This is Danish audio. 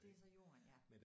Det er så Jorden ja